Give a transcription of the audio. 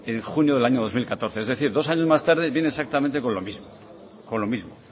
en junio del año dos mil catorce es decir dos años más tarde viene exactamente con lo mismo